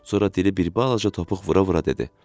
Sonra dili bir balaca topuq vura-vura dedi: